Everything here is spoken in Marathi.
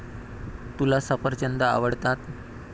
तुला सफरचंद आवडतात.